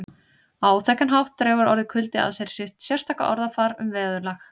Á áþekkan hátt dregur orðið kuldi að sér sitt sérstaka orðafar um veðurlag